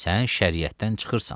Sən şəriətdən çıxırsan.